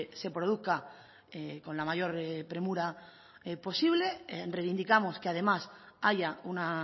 se produzca con la mayor premura posible reivindicamos que además haya una